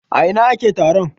A ina ake taron?